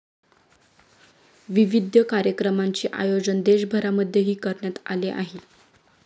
विविध कार्यक्रमांचे आयोजन देशभरामध्येही करण्यात आले आहे.